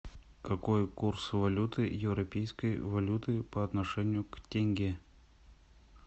какой курс валюты европейской валюты по отношению к тенге